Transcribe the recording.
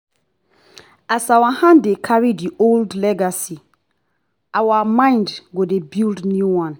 as our hand dey carry the old legacy our mind go dey build new one.